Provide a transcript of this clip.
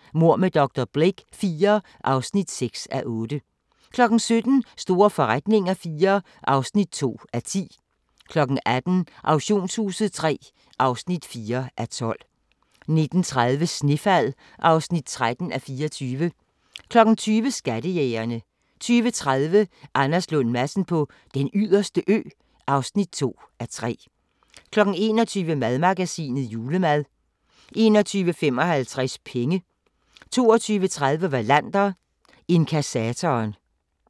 14:30: Mord med dr. Blake IV (6:8) 17:00: Store forretninger IV (2:10) 18:00: Auktionshuset III (4:12) 19:30: Snefald (13:24) 20:00: Skattejægerne 20:30: Anders Lund Madsen på Den Yderste Ø (2:3) 21:00: Madmagasinet: Julemad 21:55: Penge 22:30: Wallander: Inkassatoren